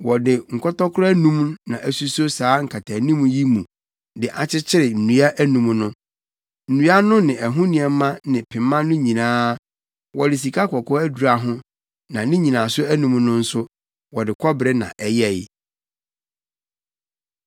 Wɔde nkɔtɔkoro anum na asuso saa nkataanim yi mu de akyekyere nnua anum no. Nnua no ne ɛho nneɛma ne pema no nyinaa, wɔde sikakɔkɔɔ adura ho na ne nnyinaso anum no nso, wɔde kɔbere na ɛyɛe.